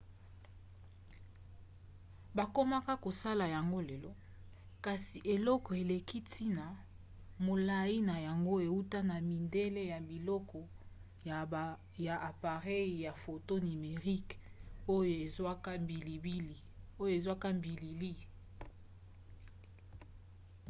bakomaka kosala yango lelo kasi eloko eleki ntina molai na yango euta na midele ya biloko ya apareyi ya foto nimerique oyo ezwaka bilili